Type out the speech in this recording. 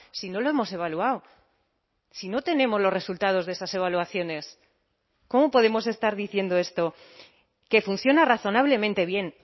si no lo hemos evaluado si no tenemos los resultados de esas evaluaciones cómo podemos estar diciendo esto que funciona razonablemente bien